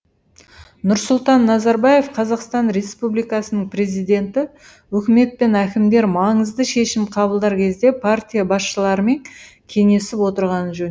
нұрсұлтан назарбаев қазақстан республикасының президенті үкімет пен әкімдер маңызды шешім қабылдар кезде партия басшыларымен кеңесіп отырғаны жөн